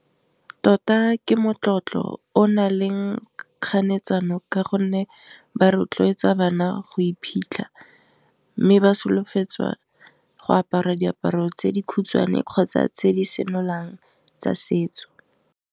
Tota ke motlotlo o nang le kganetso eno ka gonne ba rotloetsa bana go iphitlha, mme ba solofetsa go apara diaparo tse di khutshwane kgotsa tse di senolang tsa setso.